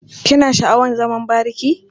Kina sha'awar zaman bariki?